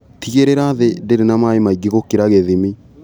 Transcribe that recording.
Tigĩrĩra thĩ ndĩrĩ na maĩ maingĩ gũkĩra gĩthimi.